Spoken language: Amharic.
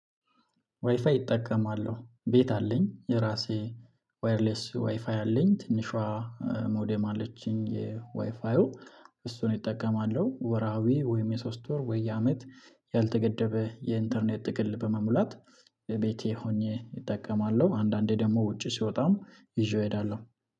ዋይፋይ እጠቀማለሁ ቤት አለኝ የራሴ ዋየርለስ ዋይፋይ አለኝ ትንሿ ሞደም አለችኝ የዋይፋው እሱን እጠቀማለሁ ወርሃዊ ወይም የሶስት ወር ወይ የአመት ያልተገደበ የኢንተርኔት ጥቅል በመሙላት ቤቴ ሆኜ እጠቀማለሁ። አንዳንዴ ደግሞ ውጪ ስወጣም ይዤው እሄዳለሁ